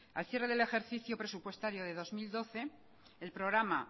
al cierre del ejercicio presupuestario de dos mil doce el programa